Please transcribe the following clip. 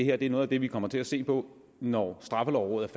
er noget af det vi kommer til at se på når straffelovrådet